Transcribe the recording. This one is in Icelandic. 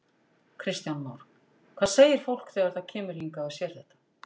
Kristján Már: Hvað segir fólk þegar það kemur hingað og sér þetta?